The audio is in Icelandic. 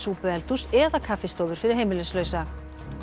súpueldhús eða kaffistofur fyrir heimilislausa